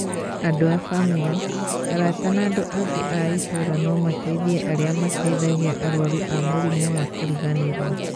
Andũ a bamirĩ, arata na andũ angĩ a ĩtũũra no mateithie arĩa mateithagia arwaru a mũrimũ wa kĩriganĩro.